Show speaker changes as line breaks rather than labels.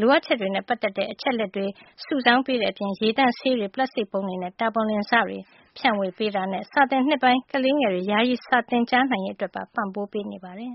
လိုအပ်ချက်တွေနဲ့ ပတ်သက်တဲ့ အချက်အလက် ရှာဖွေစုဆောင်းပေးတဲ့ အပြင်၊ ရေသန့်ဆေးပြားတွေ၊ ပလပ်စတစ်ပုံးတွေ နဲ့ တာပေါ်လင်စတွေ ဖြန့်ဝေပေးတာနဲ့ စာသစ်နှစ်အစပိုင်း ကလေးငယ်တွေ ယာယီ စာသင်ကြားန
ိုင်ရေး အတွက်ပါ ပံ့ပိုးပေးနေတယ်